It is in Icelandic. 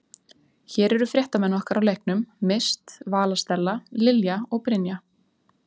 Hér eru fréttamenn okkar á leiknum, Mist, Vala Stella, Lilja og Brynja.